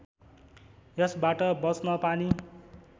यसबाट बँच्न पानी